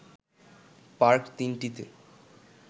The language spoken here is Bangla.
পার্ক ৩টিতে